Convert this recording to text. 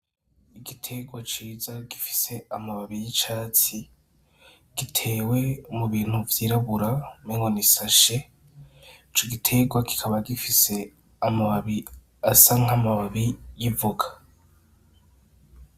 Igitegwa ciza gifise amababi y'icatsi gitewe mubintu vyirabura umengo n'isashe. Ico gitegwa kikaba gifise amababi asa nk'amababi y'ivoka.